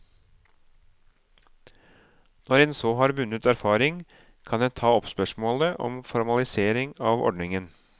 Når en så har vunnet erfaring, kan en ta opp spørsmålet om formalisering av ordningen.